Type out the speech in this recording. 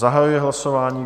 Zahajuji hlasování.